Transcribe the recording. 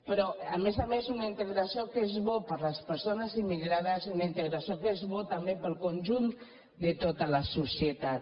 però a més a més una integració que és bona per a les persones immigrades una integració que és bona per al conjunt de tota la societat